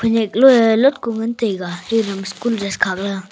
loei lokku ngan taiga school dress khak ley aa.